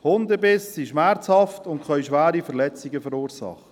Hundebisse sind schmerzhaft und können schwere Verletzungen verursachen.